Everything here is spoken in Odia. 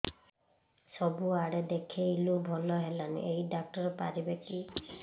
ସବୁଆଡେ ଦେଖେଇଲୁ ଭଲ ହେଲାନି ଏଇ ଡ଼ାକ୍ତର ପାରିବେ କି